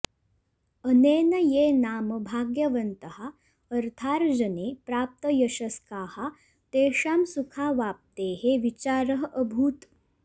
अनेन ये नाम भाग्यवन्तः अर्थार्जने प्राप्तयशस्काः तेषां सुखावाप्तेः विचारः अभूत्